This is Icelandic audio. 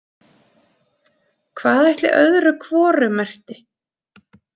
Hvað ætli öðru hvoru merkti?